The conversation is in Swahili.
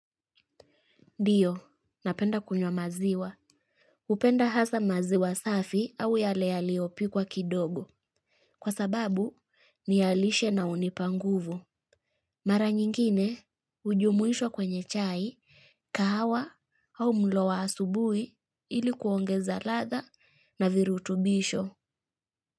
Dio, napenda kunywa maziwa. Upenda hasa maziwa safi au yale yaliyopiwa kidogo. Kwa sababu, niyalishe na unipanguvu. Mara nyingine, ujumuisho kwenye chai, kahawa au mlo wa asubui ilikuongeza latha na virutubisho.